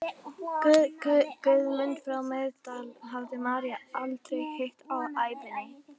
Guðmund frá Miðdal hafði María aldrei hitt á ævinni.